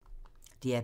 DR P3